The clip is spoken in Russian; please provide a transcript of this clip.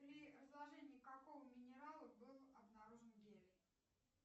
при разложении какого минерала был обнаружен гелий